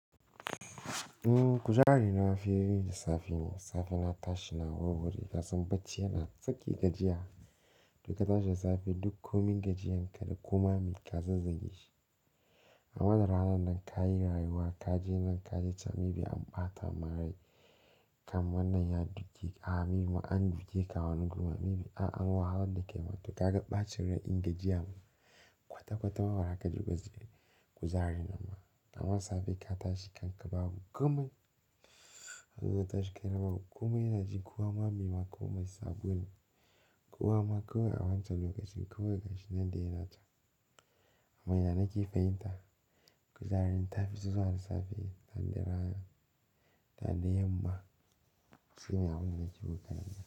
Kujere na mafi da safe ne. Safe na tashi na war-ware ƙasan bacci yana tsake gajiya. In ka tashi da safe duk komin gajiyan ka da koma ma mai ka zazzage shi. A madar ranan nan ka yi rayuwa, ka je nan ka je can, maybe an ɓata marai, kam wannan ya duke ka, maybe an duke ka wani guri ma, maybe an wahalar da kai matuƙa ka ga ɓacin rai din gajiya kwata-kwata ma baza ka ji goze. Kuzari mana, amma safe ka tashi kan ka babu komai. Kazo ka tashi kai na babu komai yana jin kowa maybe ma komai sabo ne. Kowa ma kawai a wancan lokacin kawai gashi nan dai yana can. Amma ya na ke fahimta. Kujere ta fi so ran safe, sanda rana, sanda yamma sai me haba yana ƙi buƙatar nan.